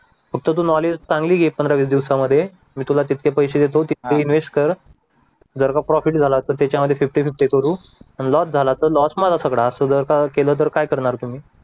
फक्त तू नॉलेज चांगली घे पंधरा-वीस दिवसांमध्ये मी तुला जितके पैसे देतो तितके इन्वेस्ट कर जर का प्रॉफिट झाला तर त्याच्यामध्ये फिफ्टी- फिफ्टी करू आणि लॉस झाला तर लॉस मला सगळा असं जर का केलं तर काय करणार तुम्ही